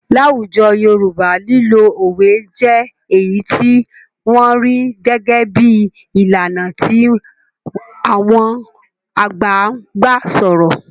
Láwùjọ Yorùbá lílo òwe jẹ́ èyí tí wọ́n rí gẹ́gẹ́ bí i ìlànà tí àwọn àgbà ń gbà sọ̀rọ̀.